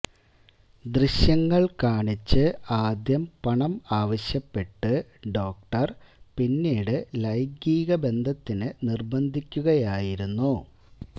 ദൃശ്യങ്ങള് കാണിച്ച് ആദ്യം പണം ആവശ്യപ്പെട്ട് ഡോക്ടര് പിന്നീട് ലൈംഗീക ബന്ധത്തിന് നിര്ബന്ധിക്കുകയായിരുന്നു